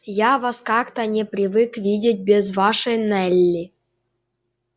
я вас как-то не привык видеть без вашей нелли